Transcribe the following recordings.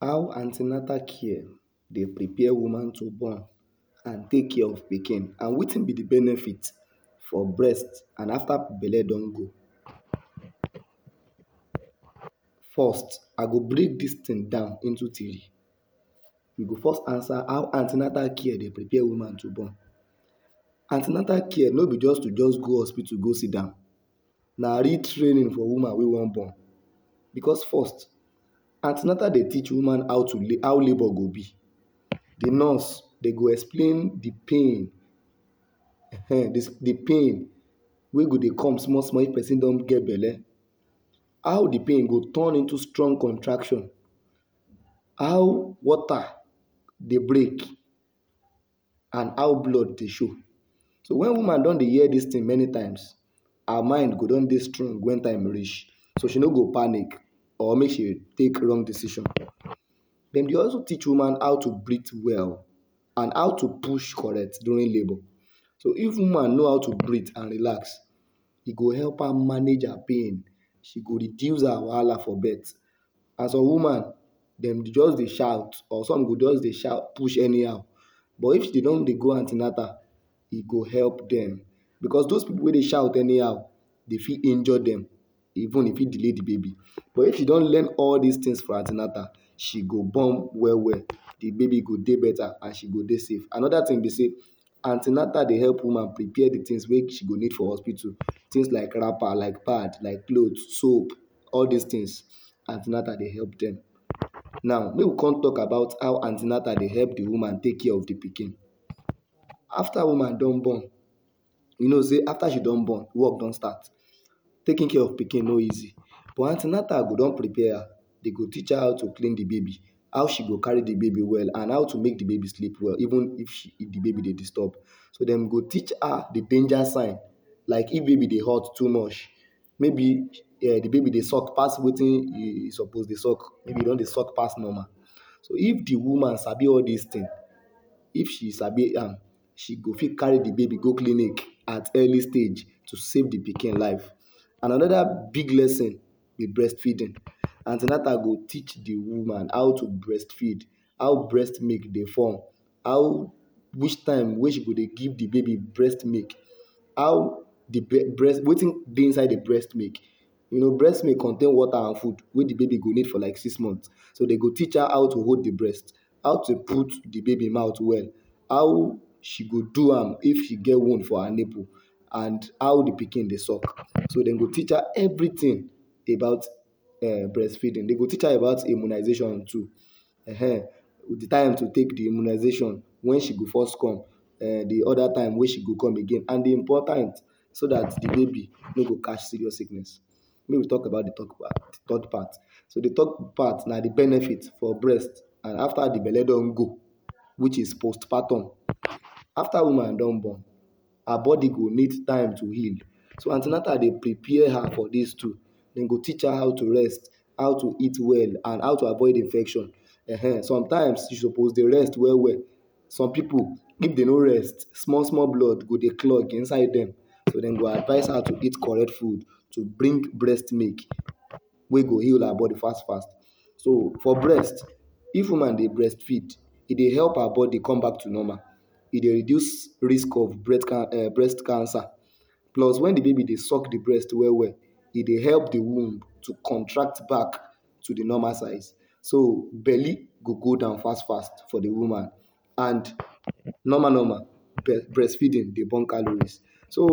How an ten atal care dey prepare woman to born and take care of pikin and wetin be di benefit for breast and afta belle don go. First, I go break dis tin down into tiri. We go first ansa how an ten atal care dey prepare woman to born. An ten atal care no be just to just go hospitu go sidan, na real training for woman wey wan born becos first, an ten atal dey teach woman how to how labour go be. Di nurse, dem go explain di pain um, di pain wey go dey come small small wen person don get belle, how di pain go turn into strong contraction, how water dey break and how blood dey show. So wen woman don dey hear dis tin many times, her mind go don dey strong wen time reach, so she no go panik or make she take wrong decision. Dem dey also teach woman how to breath well and how to push correct during labour, so if woman know how to breath and relax, e go help her manage her pain, she go reduce her wahala for birth, and some woman, dem go just dey shout, or some go just dey shout push anyhow but if don dey go an ten atal, e go help dem. Becos dos pipu wey dey shout anyhow, e fit injure dem, even e fit delay di baby but if e don learn all these tins for an ten atal, she go born well well, di baby go dey beta and and she go dey safe. Anoda tin be sey, an ten atal dey help woman prepare di tins wey she go need for hospitu; tins like wrapper, like pad, like cloth, soap, all these tins, an ten atal dey help dem. Now make we come tok about how an ten atal dey help di woman take care of di pikin. After woman don born, you know sey after she don born, work don start. Taking care of pikin no easy, but an ten atal go don prepare her, dem go teach her how to klin di baby, how she go carry di baby well and how to make di baby sleep well even if di baby dey disturb. So dem go teach her di danger sign like if baby dey hot too much, maybe um di baby dey suck pass wetin e suppose dey suck, maybe e don dey suck pass normal. So, if di woman sabi all these tin, if she sabi am, she go fit carry di baby go clinic at early stage to save di pikin life. And anoda big lesson: Di breast feeding; an ten atal go teach di woman how breast milk dey form, how which time wey she go dey give di baby breast milk. You know, breast milk contain water and food wey di baby go need for like six month. So dem go teach her how to hold di breast, how to put di baby mouth well, how she go do am if she get wound for her nipple and how di pikin dey suck. So dem go teach her evritin about um breastfeeding, dem go teach her about immunisation too ehen, di time to take di immunisation, wen she go first come, um di time wey she go come again and so dat di baby no go catch serious sickness. Make we tok about di third part. So di third part na di benefit for breast and after di belle don go, which is postpartum. Afta woman don born, her body go need time to heal. So an ten atal dey prepare her for dis two. Dem go teach her how to rest, how to eat well and how to avoid infection um. Sometimes, she suppose dey rest well well. Some pipu, if dem no rest, small small blood go dey clog inside dem. So dem go advice her to eat correct food to bring breast milk wey go heal her bodi fast fast. So for breast, if woman dey breastfeed, e dey reduce risk of breast cancer plus wen di baby dey suck di breast well well, e dey help di womb to contract back to di normal size. So belle go go down fast fast for di woman and normal normal, breastfeeding dey burn calories. So,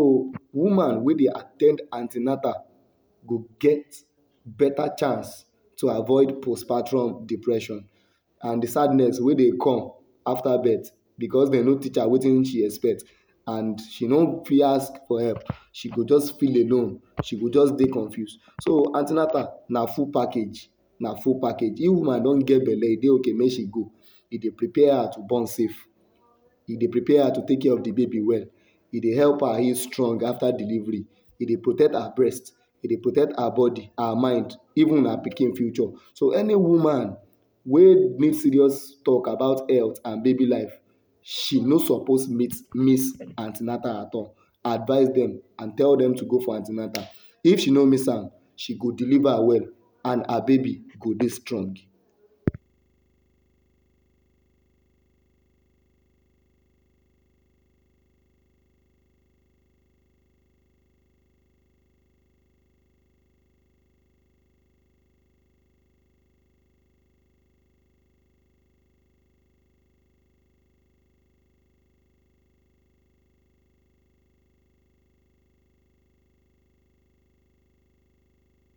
woman wey dey at ten d an ten atal go get beta chance to avoid post-partum depression and di sadness wey dey come afta birth becos dem no teach her wetin she expect becos she no fit ask for help, she go just feel alone, she go just dey confuse. So an ten atal na full package, na full package. If woman don get belle, e dey okay for her make she go. E dey prepare her to born safe, e dey prepare her to take care of di baby well. E dey help her heal strong after delivery. E dey protect her breast, e dey protect her bodi, her mind, even her pikin future. So, any woman wey need serious tok about health and baby life, she no suppose miss an ten atal at all. Advice dem and tell dem to go for an ten atal. If she no miss am, she go deliver well and her baby go dey strong.